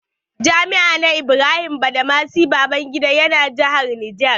Jami'a na Ibrahim Badamasi Babangida ya na jihar Niger.